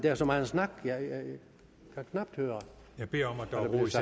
er så meget snak jeg kan knap høre